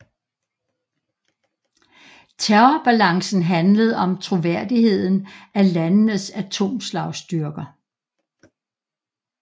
Terrorbalancen handlede om troværdigheden af landenes atomslagstyrker